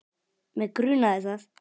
Mig grunaði það!